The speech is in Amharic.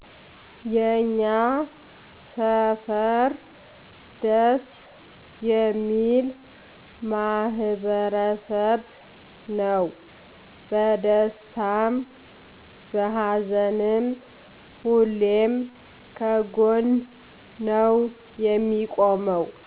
የኛ ሰፈር ደስ የሚል ማህበረሰብ ነው በደስታም በሀዘንም ሁሌም ከጎን ነው የሚቆመው